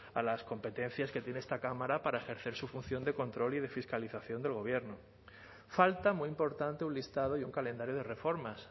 a las competencias que tiene esta cámara para ejercer su función de control y de fiscalización del gobierno falta muy importante un listado y un calendario de reformas